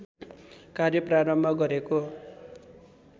कार्य प्रारम्भ गरेको